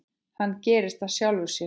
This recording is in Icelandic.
Hann gerist af sjálfu sér.